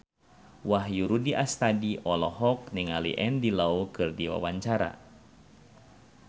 Wahyu Rudi Astadi olohok ningali Andy Lau keur diwawancara